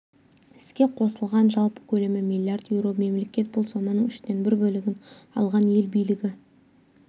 іске қосылған жалпы көлемі миллиард еуро мемлекет бұл соманың үштен бір бөлігін алған ел билігі